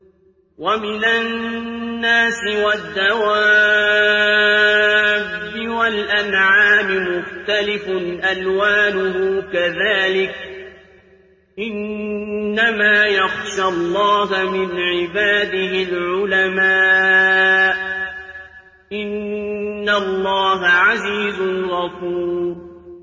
وَمِنَ النَّاسِ وَالدَّوَابِّ وَالْأَنْعَامِ مُخْتَلِفٌ أَلْوَانُهُ كَذَٰلِكَ ۗ إِنَّمَا يَخْشَى اللَّهَ مِنْ عِبَادِهِ الْعُلَمَاءُ ۗ إِنَّ اللَّهَ عَزِيزٌ غَفُورٌ